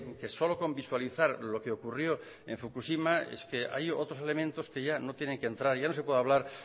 que solo con visualizar lo que ocurrió en fukushima es que hay otros elementos que ya no tienen que entrar ya no se puede hablar